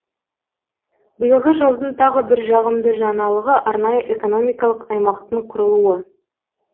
биылғы жылдың тағы бір жағымды жаңалығы арнайы экономикалық аймақтың құрылуы